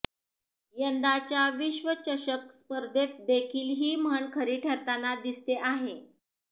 यंदाच्या विश्वचषक स्पर्धेतदेखील ही म्हण खरी ठरताना दिसते आहे